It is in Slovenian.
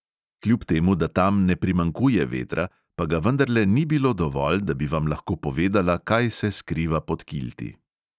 Kljub temu da tam ne primanjkuje vetra, pa ga vendarle ni bilo dovolj, da bi vam lahko povedala, kaj se skriva pod kilti.